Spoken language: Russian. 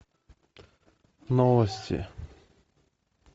новости